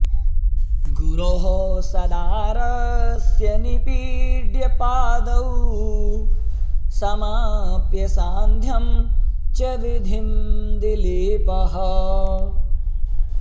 गुरोः सदारस्य निपीड्य पादौ समाप्य सांध्यं च विधिं दिलीपः